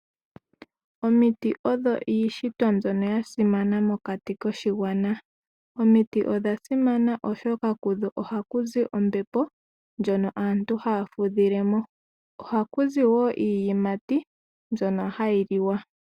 Omiti odho iishitwa mbyoka yasimana mokati koshigwana omiiti odhasimana oshoka kudho ohakuzi ombepo ndjoka aantu haya fudhilemo ohakuzi wo iiyimati mbyono hayi liwa